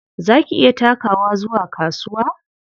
Za ki iya takawa zuwa kasuwa?